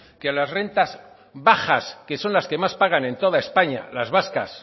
que las rentas bajas que son las que más pagan en toda españa las vascas